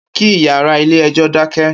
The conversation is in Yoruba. Ki iyàrá ilé èjò dákè